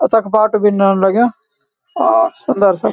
तख बाटु भी नोन लग्यां अ सुन्दर सा।